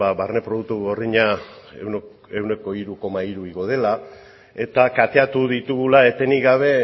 barne produktu gordina ehuneko hiru koma hiru igo dela eta kateatu ditugula etenik gabe